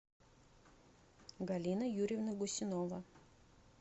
галина юрьевна гусинова